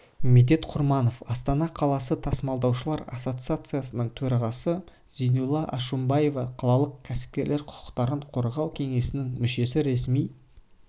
медет құрманов астана қаласы тасымалдаушылар ассоциациясының төрағасы зейнулла алшымбаев қалалық кәсіпкерлер құқықтарын қорғау кеңесінің мүшесі ресми